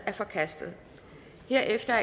er forkastet herefter